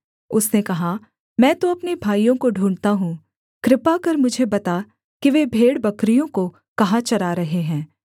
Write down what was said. उसने कहा मैं तो अपने भाइयों को ढूँढ़ता हूँ कृपा कर मुझे बता कि वे भेड़बकरियों को कहाँ चरा रहे हैं